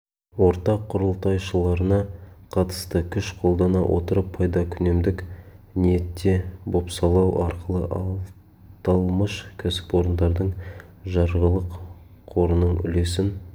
ортақ құрылтайшыларына қатысты күш қолдана отырып пайдакүнемдік ниетте бопсалау арқылы аталмыш кәсіпорындардың жарғылық қорының үлесін